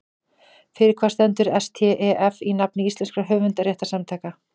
Fyrir hvað stendur STEF í nafni íslenskra höfundarréttarsamtaka?